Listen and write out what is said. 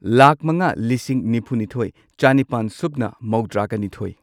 ꯂꯥꯈ ꯃꯉꯥ ꯂꯤꯁꯤꯡ ꯅꯤꯐꯨꯅꯤꯊꯣꯏ ꯆꯥꯅꯤꯄꯥꯟ ꯁꯨꯞꯅ ꯃꯧꯗ꯭ꯔꯥꯒ ꯅꯤꯊꯣꯏ